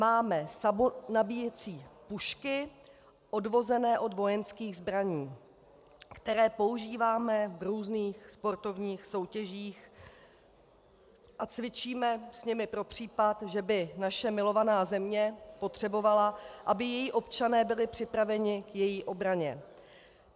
Máme samonabíjecí pušky odvozené od vojenských zbraní, které používáme v různých sportovních soutěžích a cvičíme s nimi pro případ, že by naše milovaná země potřebovala, aby její občané byli připraveni k její obraně.